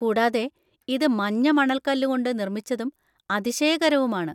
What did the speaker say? കൂടാതെ ഇത് മഞ്ഞ മണൽക്കല്ലുകൊണ്ട് നിർമ്മിച്ചതും അതിശയകരവുമാണ്.